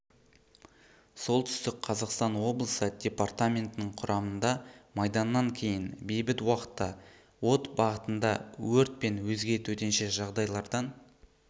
солтүстік қазақстан облысы департаментінің құрамында майданнан кейін бейбіт уақытта от бағытында өрт пен өзге төтенше жағдайлардан